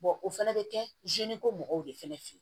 o fɛnɛ bɛ kɛ ko mɔgɔw de fana fe yen